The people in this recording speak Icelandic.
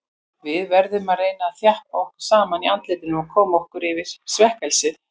Við verðum að reyna að þjappa okkur saman í andlitinu og koma okkur yfir svekkelsið.